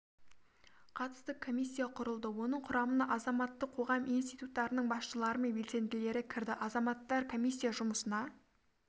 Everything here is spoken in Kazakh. қатысты комиссия құрылды оның құрамына азаматтық қоғам институттарының басшылары мен белсенділері кірді азаматтар комиссия жұмысына